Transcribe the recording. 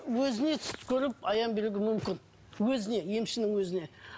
өзіне түс көріп аян беруге мүмкін өзіне емшінің өзіне